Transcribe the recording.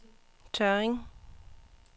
Tørring